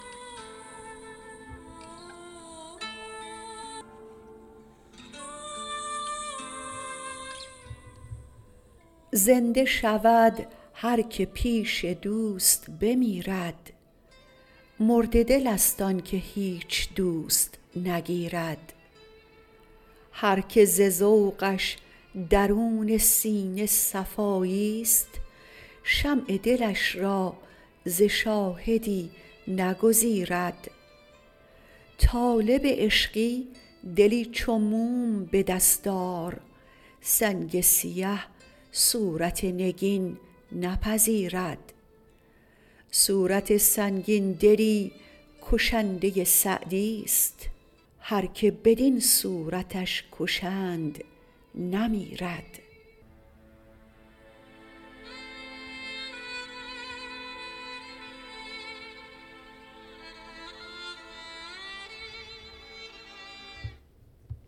زنده شود هر که پیش دوست بمیرد مرده دلست آن که هیچ دوست نگیرد هر که ز ذوقش درون سینه صفاییست شمع دلش را ز شاهدی نگزیرد طالب عشقی دلی چو موم به دست آر سنگ سیه صورت نگین نپذیرد صورت سنگین دلی کشنده سعدیست هر که بدین صورتش کشند نمیرد